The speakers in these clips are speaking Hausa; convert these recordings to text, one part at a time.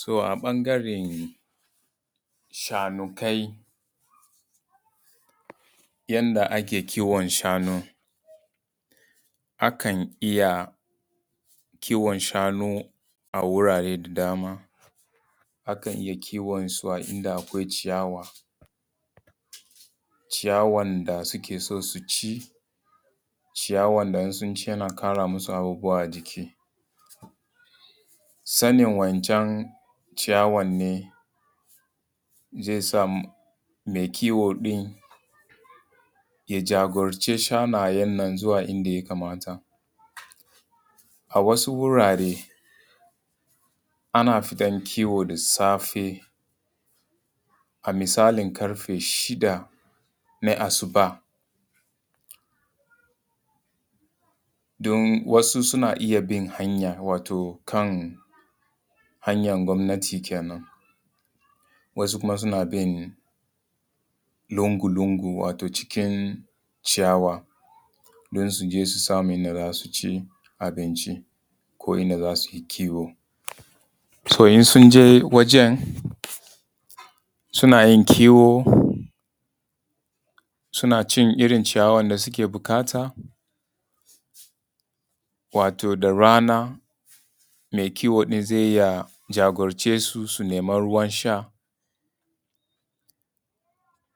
So a ɓangaren shanukai yanda ake kiwon shanu. Akan iya kiwon shanu a wurare da dama, akan iya kiwon su inda akwai ciyawa, ciyawan da suke son su ci, ciyawan da in sun ci yana ƙara musu abubuwa a jiki. Sanin wancan ciyawan ne zai sa mai kiwo ɗin ya jagoranci shanayen nan zuwa inda ya kamata. A wasu wurare ana fitan kiwo da safe a misalin ƙarfe shida na asuba don wasu suna iya bin hanya wato kan hanyar gwamnati kenan, wasu kuma suna bin lungu lungu wato cikin ciyawa don su je su samu inda za su ci abinci ko inda za su yi kiwo. so in sun je wajan, suna yin kiwo, suna cin irin ciyawan da suke buƙata, wato da rana mai kiwo in zai iya jagorance su su nema ruwan sha,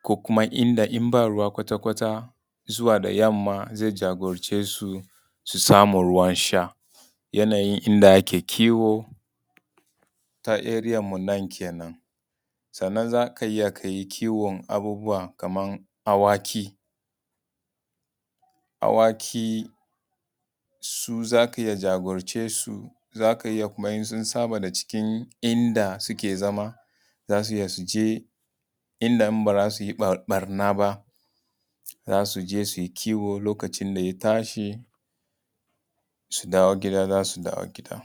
ko kuma inda inba ruwa kwata kwata zuwa da yamma zai jagorance su su samu ruwan sha. Yanayin inda ake kiwo ta area mu nan kenan. Sannan zakai iya kayi kiwon abubuwa kaman haka awaki, awaki su za ka iya jagorance su, zaka iya kuma in sun saba daga cikin inda suke zama za su iya su je inda in ba za su yi ɓarna ba, za su je su yi kiwo, lokacin da ya tashi su dawo gida za su dawo gida.